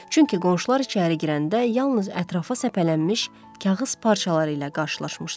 Çünki qonşular içəri girəndə yalnız ətrafa səpələnmiş kağız parçaları ilə qarşılaşmışdılar.